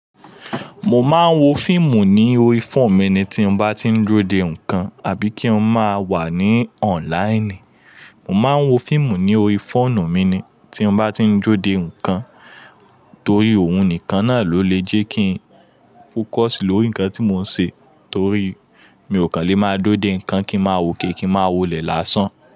Mo máa ń wo fíìmù ní orí fóònù mi ni tí mo bá tí ń dúró de nǹkan àbí kí n máa wà ní online. Mo máa ń wo fíìmù ní orí fóònù mi ni tí mo bá tí ń dúró de nǹkan torí òun nìkan náà ló lè jẹ́ kí n focus lórí nǹkan tí mò ń ṣe torí mi ò kàn le máa dúró de nǹkan kí ma wòkè kí ma wolẹ̀ lásán.